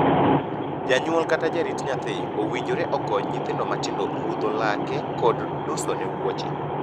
Janyuol kata jarit nyathi owinjore okony nyithindo matindo rudho lake kod dusone wuoche.